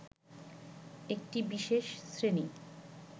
একটি বিশেষ শ্রেণী